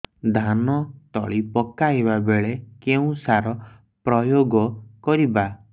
ଧାନ ତଳି ପକାଇବା ବେଳେ କେଉଁ ସାର ପ୍ରୟୋଗ କରିବା